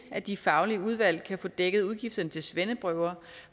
at de faglige udvalg kan få dækket udgifterne til svendeprøver